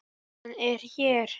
Hann er hér.